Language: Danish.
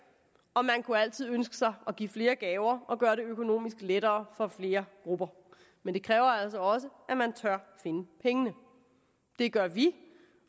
og man kunne altid ønske sig at give flere gaver og gøre det økonomisk lettere for flere grupper men det kræver altså også at man tør finde pengene det gør vi